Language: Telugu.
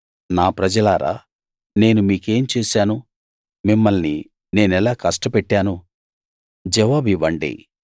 నా ప్రజలారా నేను మీకేం చేశాను మిమ్మల్ని నేనెలా కష్టపెట్టాను జవాబివ్వండి